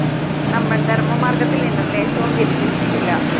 നമ്മള്‍ ധര്‍മ്മമാര്‍ഗ്ഗത്തില്‍ നിന്നും ലേശവും വ്യതിചലിച്ചിട്ടില്ല